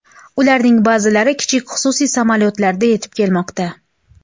Ularning ba’zilari kichik xususiy samolyotlarda yetib kelmoqda.